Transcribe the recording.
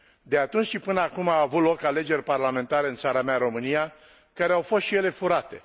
De atunci și până acum au avut loc alegeri parlamentare în țara mea, România, care au fost și ele furate.